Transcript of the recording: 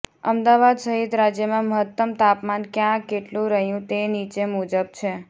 અમદાવાદ સહિત રાજ્યમાં મહત્તમ તાપમાન ક્યાં કેટલું રહ્યું તે નીચે મુજબ છે